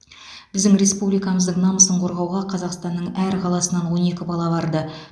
біздің республикамыздың намысын қорғауға қазақстанның әр қаласынан он екі бала барды